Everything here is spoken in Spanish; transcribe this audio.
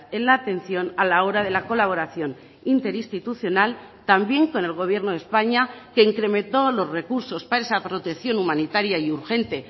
en la atención a la hora de la colaboración interinstitucional también con el gobierno de españa que incrementó los recursos para esa protección humanitaria y urgente